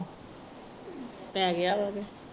ਪੈ ਗਿਆ ਵਾਵੇ